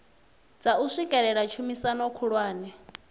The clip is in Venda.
dza u swikelela tshumisano khulwane